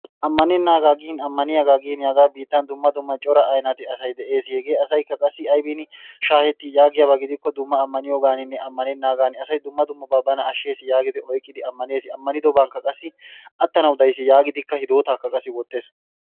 Ammanennaagaa gin Ammaniyagaa giini hagaa biittan dumma dumma cora aynate asay de'ees. Hegee asaykka qassi aybiini shaahetti yaagiyaba gidikko dumma ammaniyagaaninne ammanennaagan asay dumma dummabaa bana shsheesi yaagidi oykkidi ammanees. Ammanidobankka qassi attanawu daysi yaagidikka hidootaakka qassi wottees.